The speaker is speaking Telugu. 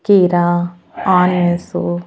కీరా ఆనియన్సు --